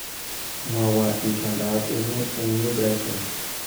Mwowo itondoab emet eng New Brighton